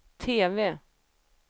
TV